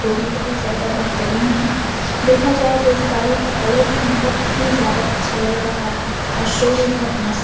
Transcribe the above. तो वो बहुत ज़्यादा बेहतरीन है। देखा जाये तो इस गाड़ी का कलर भी बहुत ही ज्यादा अच्छा लग रहा है और शो भी बहुत मस्त --